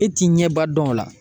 E t'i ɲɛ ba dɔn o la